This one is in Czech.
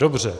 Dobře.